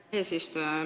Aitäh, eesistuja!